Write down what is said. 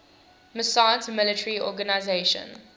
massoud's military organization